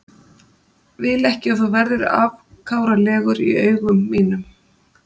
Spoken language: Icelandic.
Vil ekki að þú verðir afkáralegur í augum mínum.